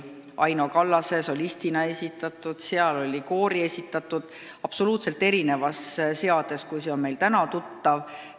Sellel plaadil esitas hümni Aino Tamm solistina, seal oli ka koori esitatud variant, absoluutselt erinevas seades, kui see on meile täna tuttav.